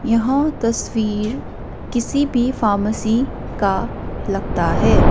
यह तसवीर किसी भी फार्मेसी का लगता है।